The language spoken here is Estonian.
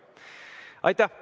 Aitäh!